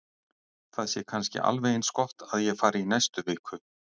Það sé kannski alveg eins gott að ég fari í næstu viku.